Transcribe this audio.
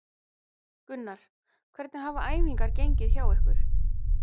Gunnar: Hvernig hafa æfingar gengið hjá ykkur?